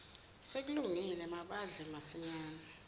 sekulungile badle masinyane